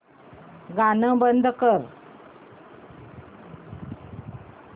गाणं बंद कर